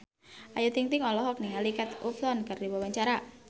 Ayu Ting-ting olohok ningali Kate Upton keur diwawancara